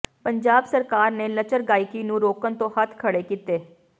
ਪੰਜਾਬ ਸਰਕਾਰ ਨੇ ਲੱਚਰ ਗਾਇਕੀ ਨੂੰ ਰੋਕਣ ਤੋਂ ਹੱਥ ਖੜ੍ਹੇ ਕੀਤੇ